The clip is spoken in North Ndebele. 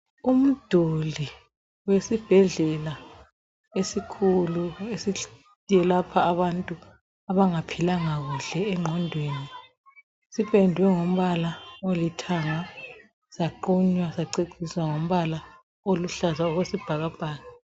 Umduli wesibhedlela esikhulu sabantu abangaphilanga kuhle engqondweni sipendwe ngombala olithanga saqunywa saceciswa ngombala oyisibhakabhaka.